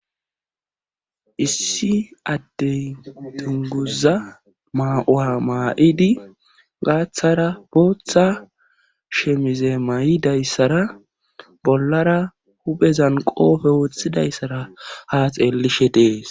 issi adtey tunguza ma7a7a maa7idi gaaththara booththa shemize may7idayssara bollara huphezan qoofe woththidayssara haa xeellishe dees